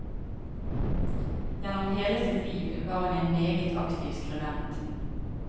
Gjennom hele sitt liv var hun en meget aktiv skribent.